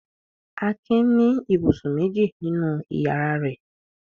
Akin ní ibùsùn méjì nínú ìyàrá rẹ̀.